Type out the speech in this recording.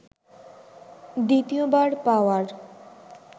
দ্বিতীয়বার পাওয়ার